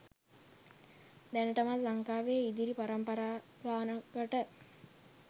දැනටමත් ලංකාවේ ඉදිරි පරම්පරා ගානකට